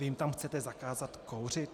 Vy jim tam chcete zakázat kouřit?